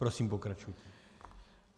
Prosím, pokračujte.